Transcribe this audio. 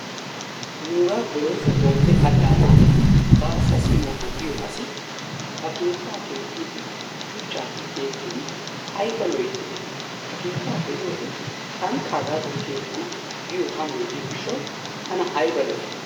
Nuugaa Bolooso Bombbe allaanaan baassa simoona giyoo asi ba keettaa keexxiidi shuuchchappe keexxidi ayba loyttidee ha keettaa be'iyoode tankka hagaadan keexxana giyoo amoy diyoo giishawu tana ayba lo"ii!